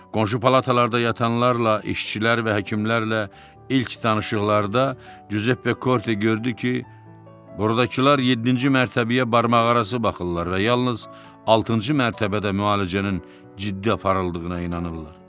Qonşu palatalarda yatanlarla, işçilər və həkimlərlə ilk danışıqlarda Cüzeppe Korte gördü ki, burdakılar yeddinci mərtəbəyə barmaqarası baxırlar və yalnız altıncı mərtəbədə müalicənin ciddi aparıldığına inanırlar.